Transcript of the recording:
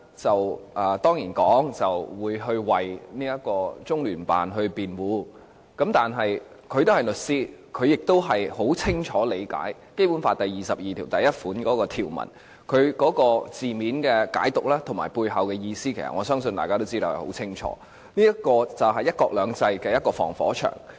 周浩鼎議員當然會為中聯辦辯護，但他是律師，很清楚理解《基本法》第二十二條第一款的條文，那些文字的解讀和背後的意思，我相信大家都很清楚，這條文就是"一國兩制"的防火牆。